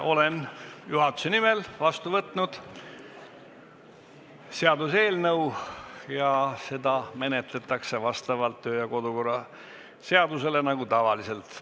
Olen juhatuse nimel vastu võtnud ühe seaduseelnõu ja seda menetletakse vastavalt kodu- ja töökorra seadusele nagu tavaliselt.